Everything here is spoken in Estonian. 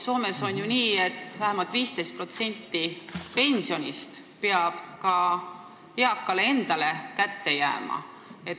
Soomes on ju nii, et vähemalt 15% pensionist peab eakale kätte jääma.